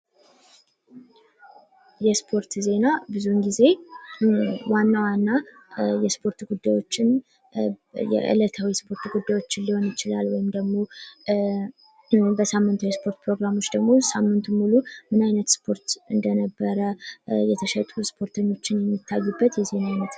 የስፖርት ዜና ብዙውን ጊዜ ዋና ዋና የስፖርት ጉዳዮችን የእለታዊ የስፖርት ጉዳዮችን ሊሆን ይችላል ወይም ደግሞ በሳምንት የስፖርት ፕሮግራሞች ደግሞ የሳምንቱን ሙሉ ምን አይነት ስፖርት እንደነበረ የተሸጡ ስፖርተኞች የሚታዩበት የዜና አይነት ነው።